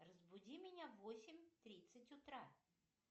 разбуди меня в восемь тридцать утра